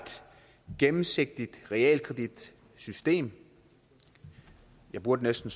gennemsigtigt realkreditsystem jeg burde næsten